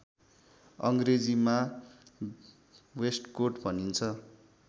अङ्ग्रेजीमा वेस्टकोट भनिन्छ